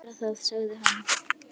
Ég skal gera það, sagði hann.